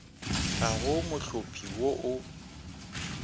ga go mohlopi wo o